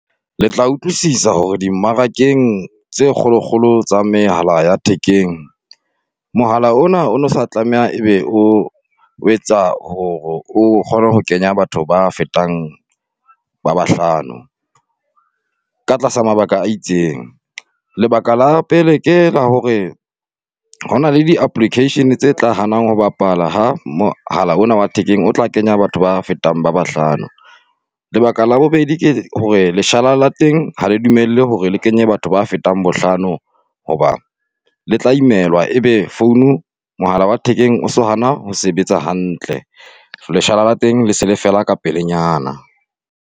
Le tla utlwisisa hore dimmarakeng tse kgolokgolo tsa mehala ya thekeng. Mohala o na o no sa tlameha ebe o, o etsa hore o kgone ho kenya batho ba fetang ba bahlano, ka tlasa mabaka a itseng. Lebaka la pele ke la hore, hona le di-application-e tse hanang ho bapala ha mohala ona wa thekeng o tla kenya batho ba fetang ba bahlano. Lebaka la bobedi ke hore leshala la teng ha le dumelle hore le kenye batho ba fetang bohlano hoba, le tla imelwa ebe phone-u, mohala wa thekeng o so hana ho sebetsa hantle. Leshala la teng le se le fela ka pelenyana.